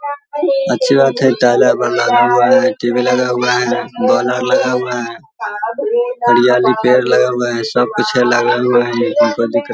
अच्छी बात है। हुआ है। टी.वी. लगा हुआ है। बोल आर लगा हुआ है। हरियाली पेड़ आर लगा हुआ है सब पीछे लगा हुआ है। कोई दिक्कत --